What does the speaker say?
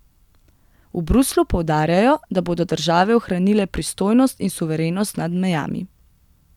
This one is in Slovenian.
V Bruslju poudarjajo, da bodo države ohranile pristojnost in suverenost nad mejami.